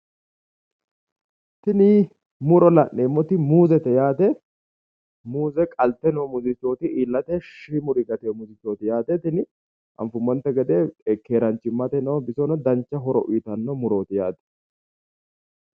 tini muro la'neemmoti muuzete yaate muuze qalte muzichooti noote iillate shiimuri calla noote tini anfummote gede keeraachimmateno bisohono dancha horo uyiitanno murooti yaate.